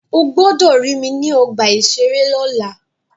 Ó gbọ́dọ̀ rí mi ní ọgbà-ìṣeré lọ́la!